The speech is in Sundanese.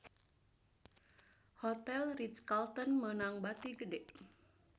Hotel Ritz-Carlton meunang bati gede